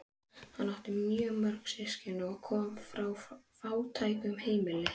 Hann átti mjög mörg systkini og kom frá fátæku heimili.